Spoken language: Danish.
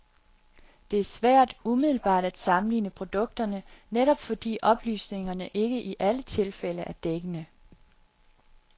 Det er svært umiddelbart at sammenligne produkterne, netop fordi oplysningerne ikke i alle tilfælde er dækkende.